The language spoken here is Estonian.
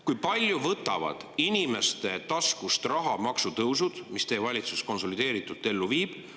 Kui palju võtavad inimeste taskust raha maksutõusud, mida teie valitsus konsolideeritult ellu viib?